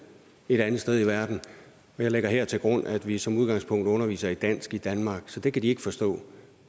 et andet sted i verden jeg lægger her til grund at vi som udgangspunkt underviser i dansk i danmark så det kan de ikke forstå